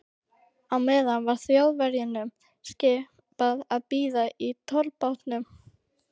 Á meðan var Þjóðverjunum skipað að bíða í tollbátnum.